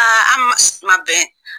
an ma sen ma bɛn